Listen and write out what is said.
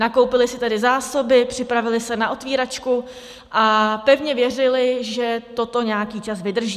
Nakoupili si tedy zásoby, připravili se na otvíračku a pevně věřili, že toto nějaký čas vydrží.